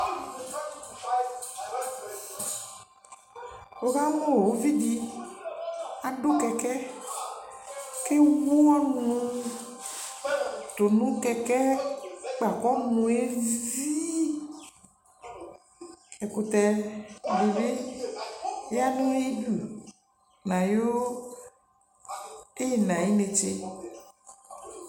wʋ kamʋʋvi di adʋ kɛkɛɛ kʋ ɛwʋ ɔnʋ dʋnʋkɛkɛɛ kpa kʋ ɔnʋɛ zii, ɛkʋtɛ dibi yanʋ ayidʋ nʋ ayi ɛna ayinɛtsɛ